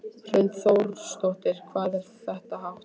Hrund Þórsdóttir: Hvað er þetta hátt?